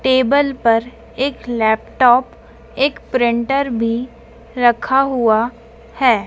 Table पर एक laptop एक प्रिंटर भी रखा हुआ है।